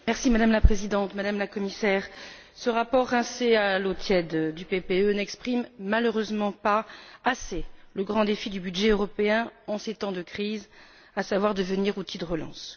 Madame la Présidente, Madame la Commissaire, ce rapport rincé à l'eau tiède du PPE n'exprime malheureusement pas assez le grand défi du budget européen en ces temps de crise, à savoir devenir un outil de relance.